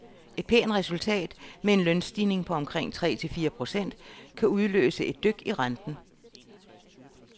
Et pænt resultat med en lønstigning på omkring tre til fire procent kan udløse et dyk i renten.